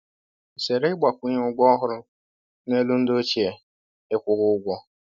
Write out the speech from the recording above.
Zere ịgbakwunye ụgwọ ọhụrụ n’elu ndị ochie ị kwụghị ụgwọ